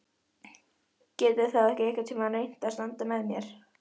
Geturðu þá ekki einhvern tíma reynt að standa með mér?